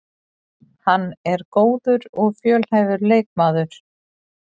Hann er góður og fjölhæfur leikmaður